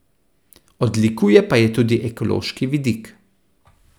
Odlikuje pa jo tudi ekološki vidik.